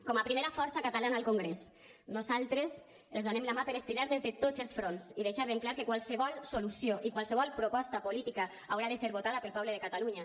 com a primera força catalana al congrés nosaltres els donem la mà per estirar des de tots els fronts i deixar ben clar que qualsevol solució i qualsevol proposta política haurà de ser votada pel poble de catalunya